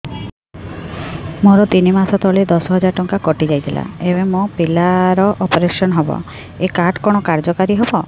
ମୋର ତିନି ମାସ ତଳେ ଦଶ ହଜାର ଟଙ୍କା କଟି ଯାଇଥିଲା ଏବେ ମୋ ପିଲା ର ଅପେରସନ ହବ ଏ କାର୍ଡ କଣ କାର୍ଯ୍ୟ କାରି ହବ